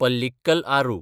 Pallikkal Aaru